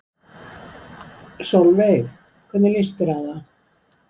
Sólveig: Hvernig líst þér á það?